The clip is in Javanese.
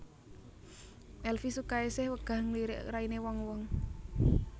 Elvi Sukaesih wegah ngelirik raine wong wong